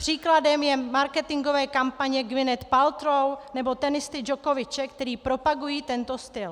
Příkladem jsou marketingové kampaně Gwyneth Paltrow nebo tenisty Djokoviče, které propagují tento styl.